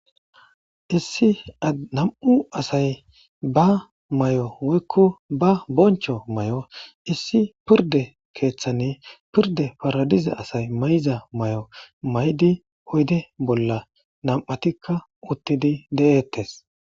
issi a nam7u asay ba may7o woykko ba boncho may7o issi pirde keeththanne pirde paradize asay mayza may7o maydi oyde bolla nam7atikka uttidi de7eettes